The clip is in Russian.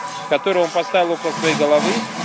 который он поставил около своей головы